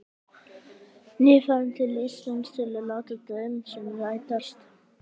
Nýfarinn til Íslands til að láta draum sinn rætast.